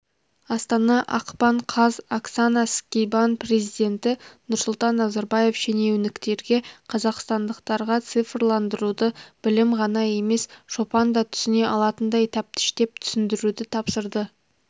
астана ақпан қаз оксана скибан президенті нұрсұлтан назарбаев шенеуніктерге қазақстандықтарға цифрландыруды білімді ғана емес шопан да түсіне алатындай тәптіштеп түсіндіруді тапсырды